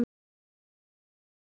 Blaðið óskar